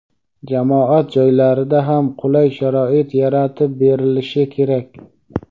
jamoat joylarida ham qulay sharoit yaratib berilishi kerak.